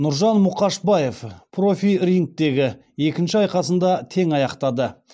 нұржан мұқашбаев профи рингтегі екінші айқасын да тең аяқтады